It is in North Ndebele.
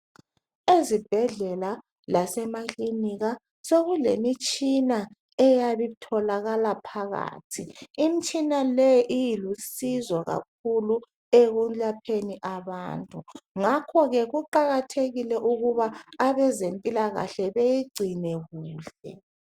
Ezibhedlela lasemakilinika sokulemitshina eyabe itholakala phakathi. Imitshina leyi ilusizo kakhulu ekulapheni abantu ngakho ke kuqakathekile ukuba abezempilakahle beyigcine kuhle.